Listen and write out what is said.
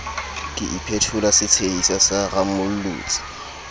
ke iphetola setshehisa sa rammolotsi